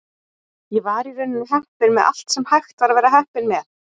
Ég var í rauninni heppinn með allt sem hægt var að vera heppinn með.